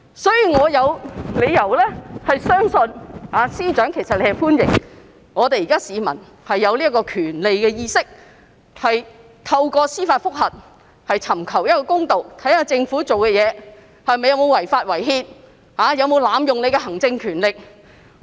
所以，我有理由相信司長其實是歡迎市民有對這項權利的意識，懂得透過司法覆核尋求公道，審視政府行事有否違法、違憲、濫用行政權力。